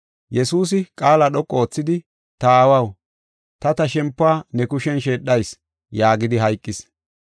Yesuusi, qaala dhoqu oothidi, “Ta aawaw, ta ta shempiw ne kushen sheedhayis” yaagidi hayqis.